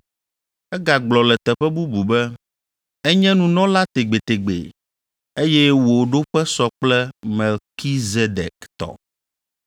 Egagblɔ le teƒe bubu be, “Enye nunɔla tegbetegbe, eye wò ɖoƒe sɔ kple Melkizedek tɔ.”